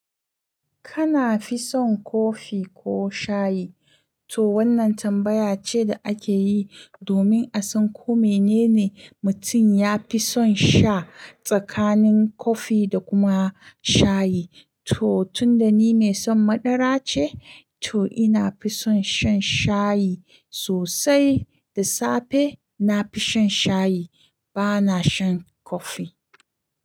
Kana fi son kofi ko shayi? To wannan tambaya ce da ake yi domin a san ko menene mutum ya fi son sha tsakanin kofi da kuma shayi. To tun da ni mai son madara ce, to ina fi son shan shayi sosai. Da safe na fi shan shayi, ba na shan kofi.